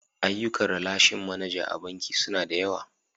Ayyukan ralashin manaja a banki suna da yawa.